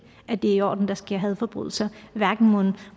at det er i orden at der sker hadforbrydelser hverken